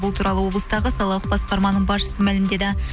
бұл туралы облыстағы салалық басқарманың басшысы мәлімдеді